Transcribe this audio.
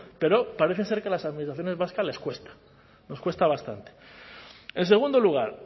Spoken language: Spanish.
pero parece ser que a las administraciones vascas les cuesta nos cuesta bastante en segundo lugar